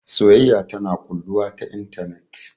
Soyayya tana ƙulluwa ta intanet